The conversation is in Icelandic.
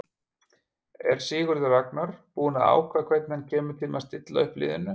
Er Sigurður Ragnar búinn að ákveða hvernig hann kemur til með stilla upp liðinu?